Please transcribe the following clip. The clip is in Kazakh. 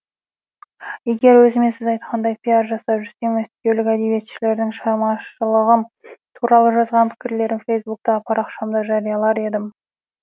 егер өзіме сіз айтқандай пиар жасап жүрсем мәскеулік әдебиетшілердің шығармашылығым туралы жазған пікірлерін фейсбуктағы парақшамда жариялар едім